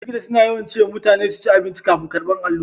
likita suna yawan cewa mutane su cin abinci kafin karbar allura